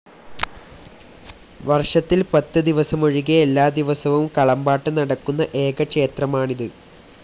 വർഷത്തിൽ‌ പത്ത് ദിവസമൊഴികെ എല്ലാദിവസവും കളംപാട്ട് നടക്കുന്ന ഏക ക്ഷേത്രമാണിത്.